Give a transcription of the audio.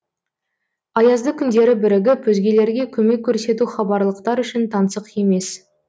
аязды күндері бірігіп өзгелерге көмек көрсету хабарлықтар үшін таңсық емес